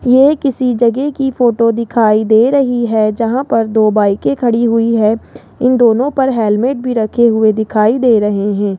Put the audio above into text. ये किसी जगह की फोटो दिखाई दे रही है जहां पर दो बाइके खड़ी हुई है इन दोनों पर हेलमेट भी रखे हुए दिखाई दे रहे हैं।